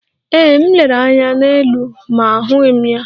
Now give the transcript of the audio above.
Ee, m lere anya n'elu ma ahụghị m ya.